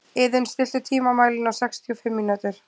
Iðunn, stilltu tímamælinn á sextíu og fimm mínútur.